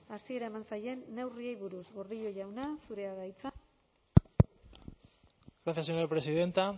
hasiera eman zaien neurriei buruz gordillo jauna zurea da hitza gracias señora presidenta